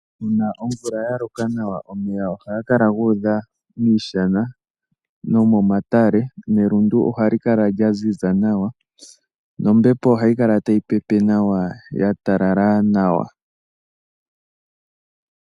Uuna omvula yaloka nawa, omeya ohaga kala gu udha miishana no momatale nelundu ohali kala lyaziza nawa, nombepo ohayi kala tayi pepe nawa ya talala nawa.